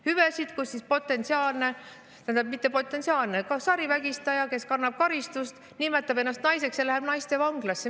Hüvesid, mille tõttu potentsiaalne vägistaja – või mitte potentsiaalne, vaid sarivägistaja, kes kannab karistust – saab nimetada ennast naiseks ja minna naistevanglasse.